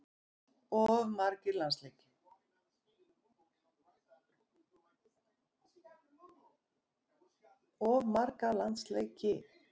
Of marga landsleiki?